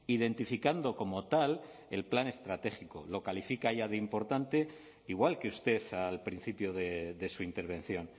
identificando como tal el plan estratégico lo califica ya de importante igual que usted al principio de su intervención